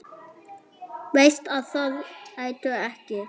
Veist að það ertu ekki.